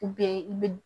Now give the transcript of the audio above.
i bi